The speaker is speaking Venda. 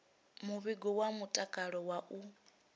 muvhigo wa mutakalo wa u